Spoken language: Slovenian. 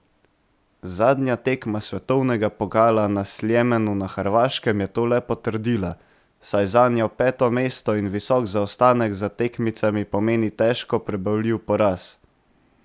Zadnja tekma svetovnega pokala na Sljemenu na Hrvaškem je to le potrdila, saj zanjo peto mesto in visok zaostanek za tekmicami pomeni težko prebavljiv poraz.